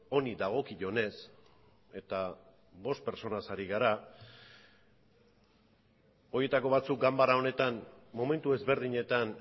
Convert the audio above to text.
honi dagokionez eta bost pertsonez ari gara horietako batzuk ganbara honetan momentu ezberdinetan